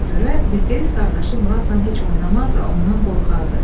Ona görə Bilqeyis qardaşı Muradla heç oynamaz və ondan qorxardı.